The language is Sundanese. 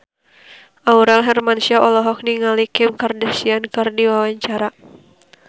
Aurel Hermansyah olohok ningali Kim Kardashian keur diwawancara